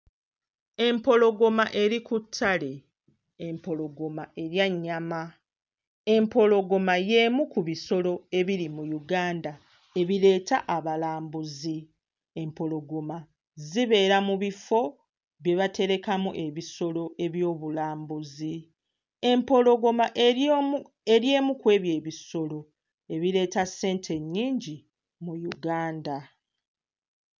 Empologoma eri ku ttale. Empologoma erya nnyama. Empologoma y'emu ku bisolo ebiri mu Uganda ebireeta abalambuzi. Empologoma zibeera mu bifo bye baterekamu ebisolo eby'obulambuzi. Empologoma eri emu kw'ebyo ebisolo ebireeta ssente ennyingi mu Uganda.